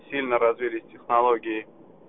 сильно развились технологии